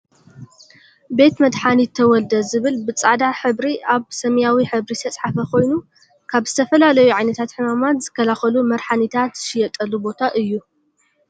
በት መድሓኒት ተወልደ ዝብል ብፃዕዳ ሕብሪ ኣብ ሰማያዊ ሕብሪ ዝተፅሓፈ ኮይኑ ካብ ዝተፈላለዩየ ዓይነታት ሕማማት ዝከላከሉ መርሓኒታት ዝሽየጠሉ ቦታ እዩ።